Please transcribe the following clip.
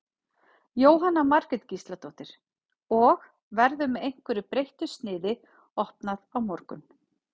Jóhanna Margrét Gísladóttir: Og, verður með einhverju breyttu sniði opnað á morgun?